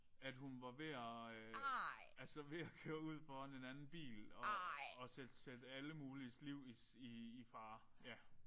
At hun var ved at ved at altså ved at køre ud foran en anden bil og og sætte sætte alle muliges liv i i fare ja